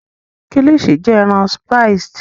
Kilichi jẹ ẹran spiced